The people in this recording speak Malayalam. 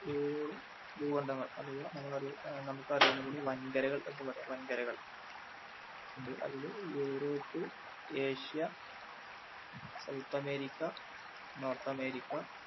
ഏഴോളം ഭൂഖണ്ഡങ്ങൾ അഥവ നമ്മൾ അറിയു നമുക്കറിയിറിയുന്നതുപോലെ വൻകരകൾ എന്ന് പറയാം. വൻകരകൾ അതില് Europe, Asia south America, north America